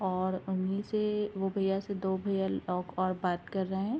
और उन्हीं से वो भैया से दो भैया लोग और बात कर रहे हैं।